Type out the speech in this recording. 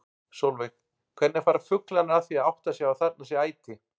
Sólveig: Hvernig fara fuglarnir að því að átta sig á að þarna sé æti?